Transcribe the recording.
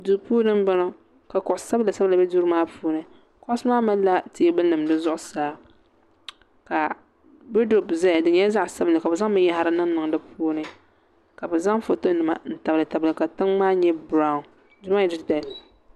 Duu puuni m-bɔŋɔ ka kuɣ' sabila sabila be duu maa puuni kuɣusi maa malila teebulinima di zuɣusaa ka wɔduropu zaya di nyɛla zaɣ' sabinli ka bɛ zaŋ binyahiri niŋniŋ di puuni ka bɛ zaŋ fotonima n-tabilitabili ka tiŋa maa nyɛ birawu duu nyɛla du' titali